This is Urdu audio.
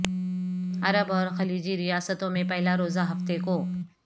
عرب اور خلیجی ریاستوں میں پہلا روزہ ہفتے کو